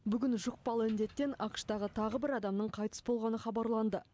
бүгін жұқпалы індеттен ақш тағы тағы бір адамның қайтыс болғаны хабарланды